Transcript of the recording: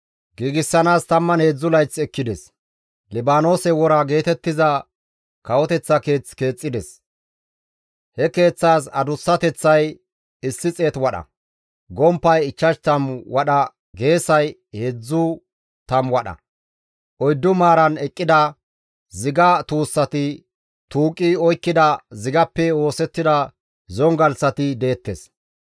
Libaanoose Wora geetettiza kawoteththa keeth keexxides; he keeththaas adussateththay 100 wadha, gomppay 50 wadha geesay 30 wadha; oyddu maaran eqqida ziga tuussati tuuqi oykkida zigappe oosettida zongalththati deettes.